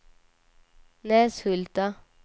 Näshulta